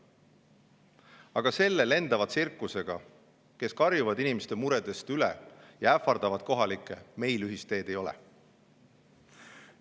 Aga selle lendava tsirkusega, kes karjub inimeste muredest üle ja ähvardab kohalikke, meil ühist teed ei ole.